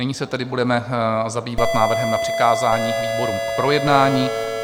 Nyní se tedy budeme zabývat návrhem na přikázání výborům k projednání.